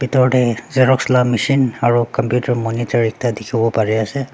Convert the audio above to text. bitor te xerox la machine aru computer monitor ekta dikhi wo pari ase.